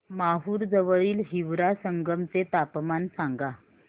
माहूर जवळील हिवरा संगम चे तापमान सांगा